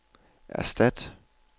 erstat